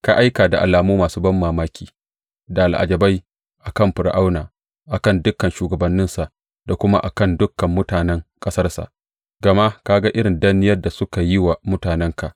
Ka aika da alamu masu banmamaki da al’ajabai a kan Fir’auna, a kan dukan shugabanninsa da kuma a kan dukan mutanen ƙasarsa, gama ka ga irin danniyar da suka yi wa mutanenka.